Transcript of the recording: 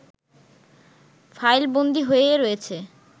ফাইলবন্দী হয়ে রয়েছে